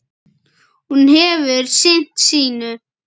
Hún hefur sinnt sínu.